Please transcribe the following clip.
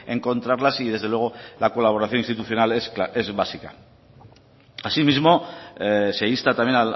encontrarlas y desde luego la colaboración institucional es básica asimismo se insta también